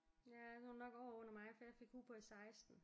Ja så er hun nok året under mig for jeg fik hue på i 16